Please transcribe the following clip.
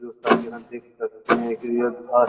दोस्तों आप यहाँ देख सकते है कि यह घर --